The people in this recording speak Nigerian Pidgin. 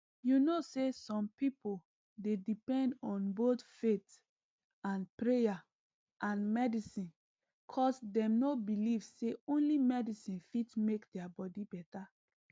you know saysome pipo dey depend on both faith and prayer and medicine cus dem nor believe say only medicine fit mk their body better